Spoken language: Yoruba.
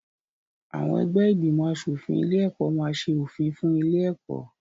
Àwọn ẹgbẹ́ ìgbìmọ̀-aṣòfin ilé-ẹ̀kọ́ máa ṣe òfin fún ilé-ẹ̀kọ́.